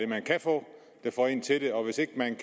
man kan få der får en til det og hvis ikke man